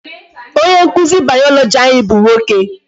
Onye nkụzi biology anyị bụ nwoke.